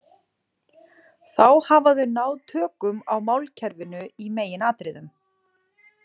Þá hafa þau náð tökum á málkerfinu í meginatriðum.